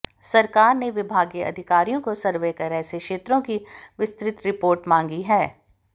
सरकार ने विभागीय अधिकारियों को सर्वे कर ऐसे क्षेत्रों की विस्तृत रिपोर्ट मांगी है